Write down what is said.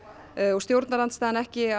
og stjórnarandstaðan ekki